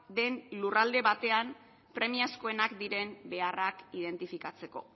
den lurralde batean premiazkoenak diren beharrak identifikatzeko